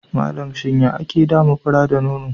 Malam, shin ya ake dama fura da nono?